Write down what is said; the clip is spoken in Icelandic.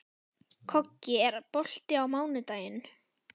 Koggi, er bolti á mánudaginn?